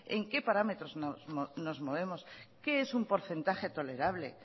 en qué parámetros nos movemos qué es un porcentaje tolerable